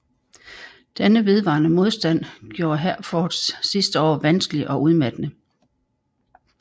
Denne vedvarende modstand gjorde Herforths sidste år vanskelige og udmattende